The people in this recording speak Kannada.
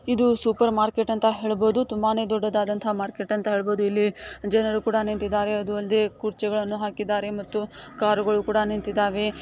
ಇದು ಸೂಪರ್ ಮಾರ್ಕೆಟ್ ಅಂತ ಹೇಳಬಹುದು ತುಂಬಾನೇ ದೊಡ್ಡದಂತಹ ಮಾರ್ಕೆಟ್ ಅಂತ ಹೇಳಬಹುದು ಇಲ್ಲಿ ಜನರು ಕುಡ ನಿಂತಿದ್ದಾರೆ ಅದು ಅಲ್ದೆ ಕುರ್ಚಿಗಳನ್ನು ಹಾಕಿದ್ದಾರೆ ಮತ್ತು ಕಾರುಗಳು ಕುಡ ನಿಂತಿದ್ದಾವೆ .